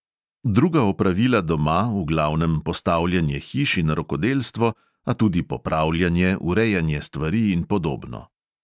Druga opravila doma, v glavnem postavljanje hiš in rokodelstvo, a tudi popravljanje, urejanje stvari in podobno.